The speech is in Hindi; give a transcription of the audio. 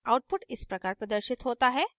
output इस प्रकार प्रदर्शित होता है